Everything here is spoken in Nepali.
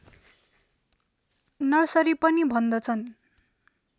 नर्सरी पनि भन्दछन्